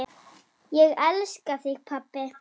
Ég elska þig pabbi.